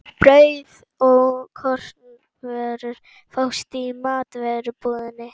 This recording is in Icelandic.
Brauð og kornvörur fást í matvörubúðinni.